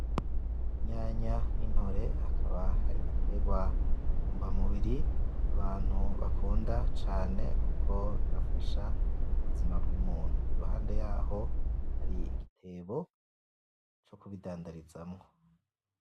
Inyanya ni ntore akaba ari ibiterwa ntungamubiri abantu bakunda cane kuko birafasha mubuzima bw'umuntu. Iruhande yaho hari igitebo co kubidandarizamwo.